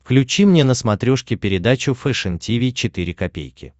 включи мне на смотрешке передачу фэшн ти ви четыре ка